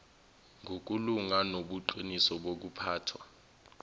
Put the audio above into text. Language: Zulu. ngokulunga nobuqiniso bokuphathwa